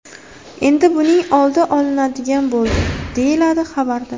Endi buning oldi olinadigan bo‘ldi”, deyiladi xabarda.